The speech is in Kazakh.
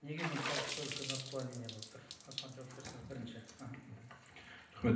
неге мұншалықты үлкен отклонение болып тұр осыған жауап берсеңіз бірінші аха рахмет